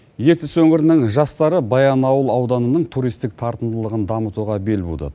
ертіс өңірінің жастары баянауыл ауданының түристік тартымдылығын дамытуға бел буды